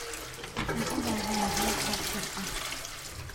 Waxaan u baahanahay koob shaah ah